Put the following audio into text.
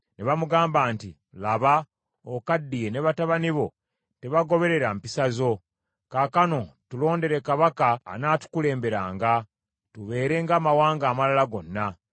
ne bamugamba nti, “Laba, okaddiye ne batabani bo tebagoberera mpisa zo, kaakano tulondere kabaka anaatukulemberanga, tubeere ng’amawanga amalala gonna.”